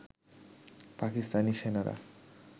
পাকিস্তানি সেনারা